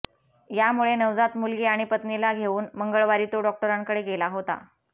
यामुळे नवजात मुलगी आणि पत्नीला घेवून मंगळवारी तो डॉक्टरांकडे गेला होता